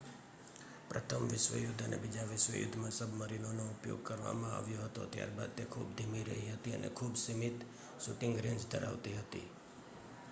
પ્રથમ વિશ્વયુદ્ધ અને બીજા વિશ્વ યુધ્ધમાં સબમરીનોનો ઉપયોગ કરવામાં આવ્યો હતો ત્યારબાદ તે ખૂબ ધીમી રહી હતી અને ખૂબ સીમિત શુટિંગ રેંજ ધરાવતી હતી